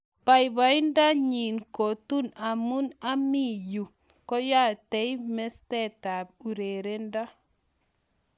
Babaindo nyi kotun amii yu keyatei mastap urerendo